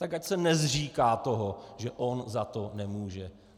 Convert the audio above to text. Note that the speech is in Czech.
Tak ať se nezříká toho, že on za to nemůže.